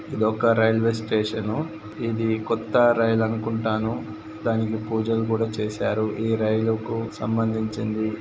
ఇది ఒక railway station ఇది కొత్త రైల్ అనుకుంటాను దానికి పూజలు కూడా చేశారు ఈ రైలుకు సంబంధించింది.